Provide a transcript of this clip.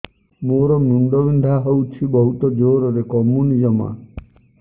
ମୋର ମୁଣ୍ଡ ବିନ୍ଧା ହଉଛି ବହୁତ ଜୋରରେ କମୁନି ଜମା